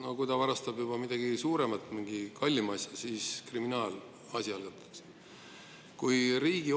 Aga kui ta varastab juba midagi suuremat, mingi kallima asja, siis algatatakse kriminaalasi.